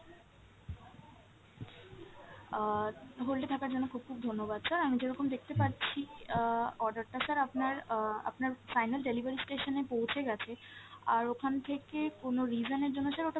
আহ hold এ থাকার জন্য খুব খুব ধন্যবাদ sir, আমি যেরকম দেখতে পাচ্ছি আহ order টা sir আপনার আহ আপনার final delivery station এ পৌঁছে গেছে, আর ওখান থেকে কোনো reason এর জন্য sir ওটা